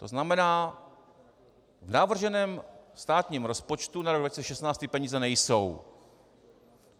To znamená, v navrženém státním rozpočtu na rok 2016 ty peníze nejsou.